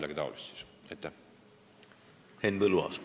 Henn Põlluaas, palun!